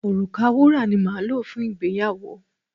Òrùka wúrà ni máa lò fún ìgbéyàwó.